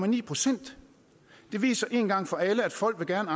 en procent det viser en gang for alle at folk gerne